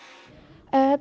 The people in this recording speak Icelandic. þetta